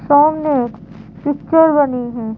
सामने एक पिक्चर बनी है।